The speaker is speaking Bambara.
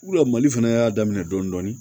Wula mali fana y'a daminɛ dɔndɔni